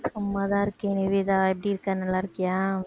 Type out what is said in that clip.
சும்மாதான் இருக்கேன் நிவேதா எப்படி இருக்க நல்லா இருக்கியா